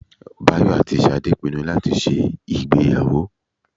Báyọ̀ àti Ṣadé pinnu láti ṣe ìgbéyàwó